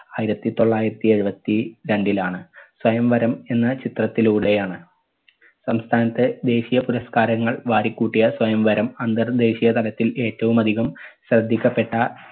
ആയിരത്തി തൊള്ളായിരത്തി എഴുപത്തി രണ്ടിലാണ്. സ്വയംവരം എന്ന ചിത്രത്തിലൂടെയാണ് സംസ്ഥാനത്തെ ദേശിയ പുരസ്കാരങ്ങൾ വാരിക്കൂട്ടിയ സ്വയംവരം അന്തർദേശീയ തലത്തിൽ ഏറ്റവും അധികം ശ്രദ്ധിക്കപ്പെട്ട